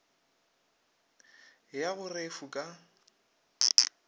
ya go re fu ka